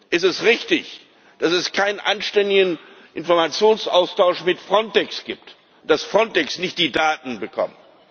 Ist es richtig, dass es keinen anständigen Informationsaustausch mit Frontex gibt, dass Frontex die Daten nicht bekommt?